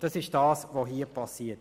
Das ist es, worum es hier geht.